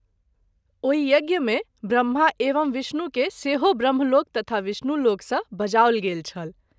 ओहि यज्ञ मे ब्रम्हा एवं विष्णु के सेहो ब्रम्हलोक तथा विष्णुलोक सँ बजाओल गेल छल।